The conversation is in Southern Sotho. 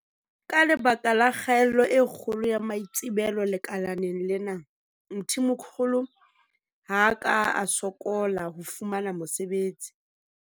Ka lebaka la kgaello e kgolo ya maitsebelo lekaleng lena, Mthimkhulu ha a ka a sokola ho fumana mosebetsi.